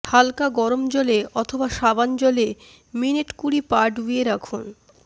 হাল্কা গরম জলে অথবা সাবান জলে মিনিট কুড়ি পা ডুবিয়ে রাখুন